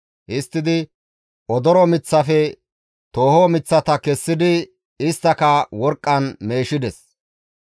Histtidi odoro miththafe tooho miththata kessidi isttaka worqqan meeshides.